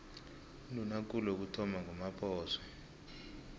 undunakulu wokuthoma ngumaphoso